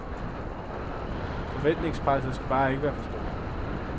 Forventningspresset skal bare ikke være så stort.